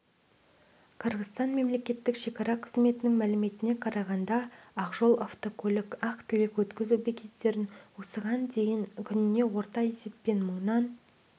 қырғызстан мемлекеттік шекара қызметінің мәліметіне қарағанда ақжол-автожол ақ-тілек өткізу бекеттерінен осыған дейін күніне орта есеппен мыңнан